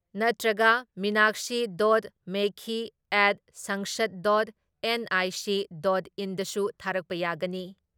ꯅꯠꯇ꯭ꯔꯒ Meenakshi dot Lekhi at sansad dot NIC dot ꯏꯟꯗꯁꯨ ꯊꯥꯔꯛꯄ ꯌꯥꯒꯅꯤ ꯫